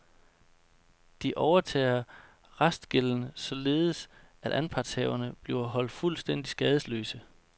De overtager restgælden, således at anpartshaverne bliver holdt fuldstændig skadesløse.